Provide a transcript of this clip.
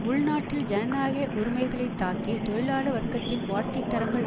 உள்நாட்டில் ஜனநாயக உரிமைகளைத் தாக்கி தொழிலாள வர்க்கத்தின் வாழ்க்கை தரங்கள்